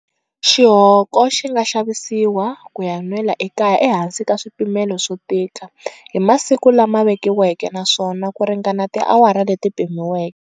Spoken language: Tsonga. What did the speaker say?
Xihoko xi nga xavisiwa ku ya nwela ekaya ehansi ka swipimelo swo tika, hi masiku lama vekiweke naswona ku ringana ti awara leti pimiweke.